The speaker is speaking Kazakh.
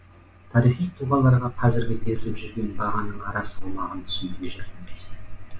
тарихи тұлғаларға қазіргі беріліп жүрген бағаның ара салмағын түсінуге жәрдемдеседі